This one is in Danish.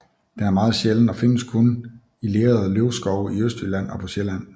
Den er meget sjælden og findes kun i lerede løvskove i Østjylland og på Sjælland